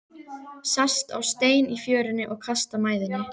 Sest á stein í fjörunni og kastar mæðinni.